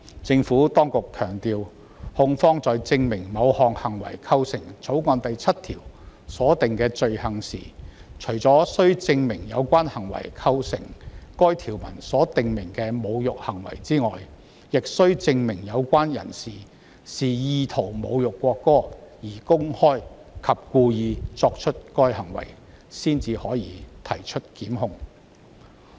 政府當局強調，控方在證明某行為是否構成《條例草案》第7條所訂的罪行時，除須證明有關行為構成該條文所訂明的侮辱行為外，還須證明有關的人是意圖侮辱國歌而公開及故意作出該行為，然後才可提出檢控。